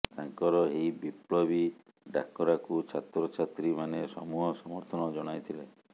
ତାଙ୍କର ଏହି ବିପ୍ଳବି ଡାକରାକୁ ଛାତ୍ର ଛାତ୍ରୀ ମାନେ ସମୂହ ସମର୍ଥନ ଜଣାଇ ଥିଲେ